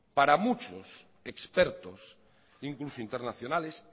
para muchos expertos incluso internacionales